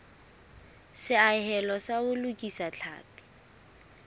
seahelo sa ho lokisa tlhapi